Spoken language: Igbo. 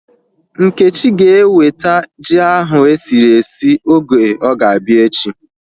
Nkechi ga eweta ji ahu esiri esi oge ọ ga-abịa echi